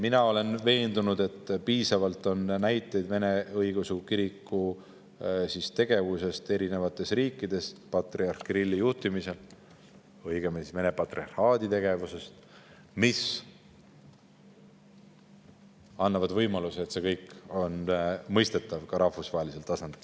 Mina olen veendunud, et on piisavalt näiteid Vene Õigeusu Kiriku, õigemini Vene patriarhaadi tegevusest eri riikides patriarh Kirilli juhtimisel, mis annavad võimaluse, et see kõik on mõistetav ka rahvusvahelisel tasandil.